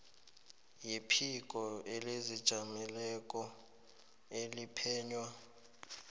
yephiko elizijameleko eliphenya